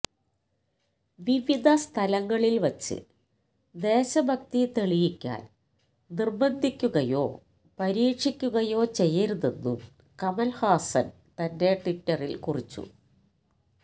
വിവിധസ്ഥലങ്ങളില് വച്ച് ദേശഭക്തി തെളിയിക്കാന് നിര്ബന്ധിക്കുകയോ പരീക്ഷിക്കുകയോ ചെയ്യരുതെന്നും കമൽ ഹാസൻ തന്റെ ട്വിറ്റരിൽ കുറിച്ചു